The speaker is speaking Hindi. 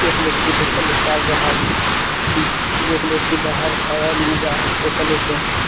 एक व्यक्ति पैसा निकाल रहा हैं एक व्यक्ति बाहर खड़ा वो जा रहा हैं पैसा लेके--